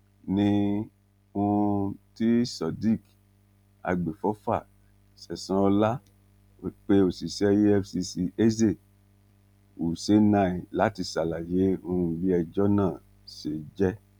ní um ti sodiq agbèfọfà sẹsan ọlá pé òṣìṣẹ efcc eze u chennai láti ṣàlàyé um bí ẹjọ náà ṣe jẹ